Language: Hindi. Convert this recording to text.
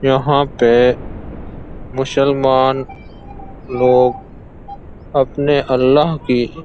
यहाँ पे मुसलमान लोग अपने अल्लाह की --